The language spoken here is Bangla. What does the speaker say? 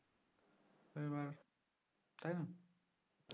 তো এবার তাইনা